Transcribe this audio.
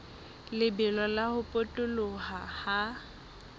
lebelo la ho potoloha ha